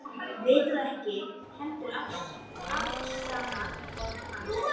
vitað ekki heldur afsannað orð hans.